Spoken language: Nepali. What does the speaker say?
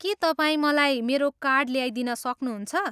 के तपाईँ मलाई मेरो कार्ड ल्याइदिन सक्नुहुन्छ?